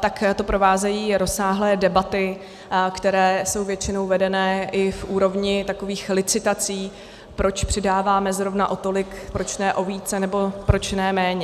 tak to provázejí rozsáhlé debaty, které jsou většinou vedeny i v úrovni takových licitací, proč přidáváme zrovna o tolik, proč ne o víc, nebo proč ne méně.